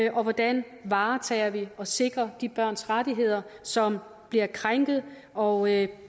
og hvordan varetager og sikrer de børns rettigheder som bliver krænket og